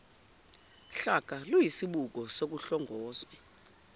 hlaka luyisibuko sokuhlongozwe